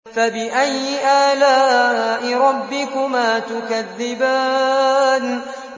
فَبِأَيِّ آلَاءِ رَبِّكُمَا تُكَذِّبَانِ